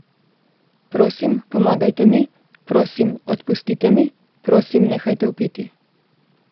Prosim, pomagajte mi, prosim, odpustite mi, prosim, nehajte vpiti.